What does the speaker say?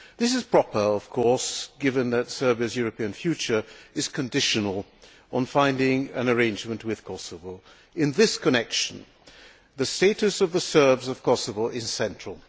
This is proper, of course, given that Serbia's European future is conditional on finding an arrangement with Kosovo. In this connection, the status of the Serbs of Kosovo is central.